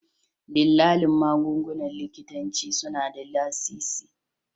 Dillalan magungunan likitanci suna da lasisi